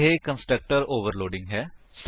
ਇਹ constructor overloading ਹੈ